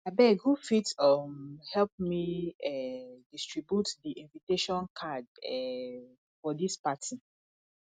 abeg who fit um help me um distribute di invitation card um for dis party